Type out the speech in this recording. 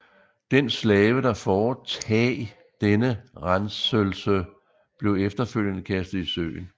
Den slave der foretag denne renselse blev efterfølgende kastet i søen